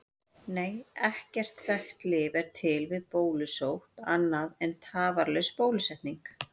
Nei, ekkert þekkt lyf er til við bólusótt annað en tafarlaus bólusetning.